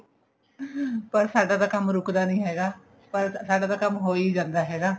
ਪਰ ਸਾਡਾ ਤਾਂ ਕੰਮ ਰੁਕਦਾ ਨੀ ਹੈਗਾ ਪਰ ਸਾਡਾ ਤਾਂ ਕੰਮ ਹੋਈ ਜਾਂਦਾ ਹੈਗਾ